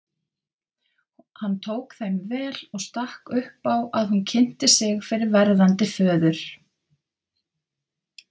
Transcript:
Hann tók þeim vel og stakk upp á að hún kynnti sig fyrir verðandi föður.